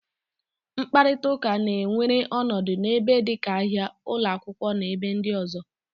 Mkparịta ụka na-ewere ọnọdụ n'ebe dịka ahia, ụlọ akwụkwọ, na ebe ndị ọzọ.